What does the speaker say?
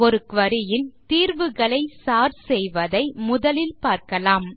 ஒரு குரி ன் தீர்வுகளை சோர்ட் செய்வதை முதலில் பார்க்கலாம்